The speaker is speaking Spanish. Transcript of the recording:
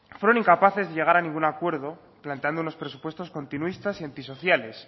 fueron incapaces de llegar a ningún acuerdo planteando unos presupuestos continuistas y antisociales